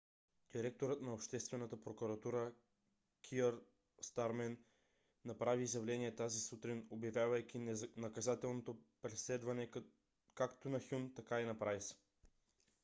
директорът на обществената прокуратурата кийър стармер направи изявление тази сутрин обявявайки наказателното преследване както на хюн така и на прайс